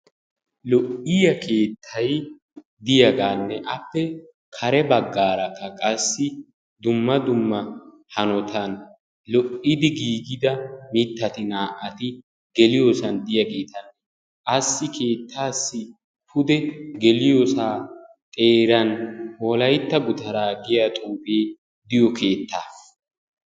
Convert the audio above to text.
Lo"iya keettay diyagaanne appe kare baggarakka qassi dumma dumma hanotan lo"idi giigida mittati naa"ati de"iyosan diyaageeta. Assi keettaassi pude geliyoosaa xeeran wolaytta gutaraa giya xuufe diyo keettaa.